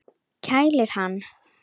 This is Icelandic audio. Kælir hann.